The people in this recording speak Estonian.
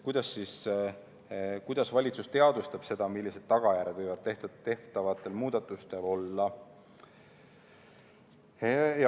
Kuidas siis valitsus teadvustab seda, millised tagajärjed võivad tehtavatel muudatustel olla?